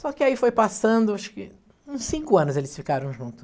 Só que aí foi passando, acho que uns cinco anos eles ficaram junto.